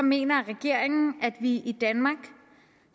mener regeringen at vi i danmark